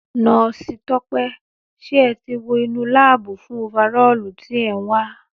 Nọ́osi Tọ́pẹ́ ṣé ẹ tí wo inú láábù fún ofarọ́ọ̀lu tí è nwa